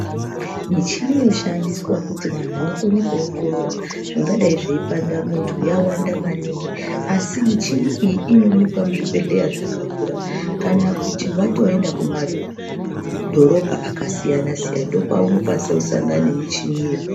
Michini yoshandiswa kuti vantu vakone kuwongorora zvingadai zveipanda muntu yawandisa maningi asi michini iyi inoonekwa muzvibhehleya zvakakura kana kuti watoenda kumadhorobha akasiyana siyana ndopaunokwanisa kusangana nemichini iyo.